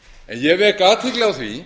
ég vek athygli á því